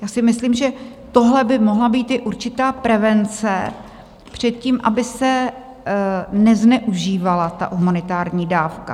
Já si myslím, že tohle by mohla být i určitá prevence před tím, aby se nezneužívala ta humanitární dávka.